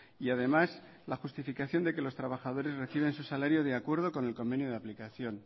y además la justificación de que los trabajadores reciben su salario de acuerdo con el convenio de aplicación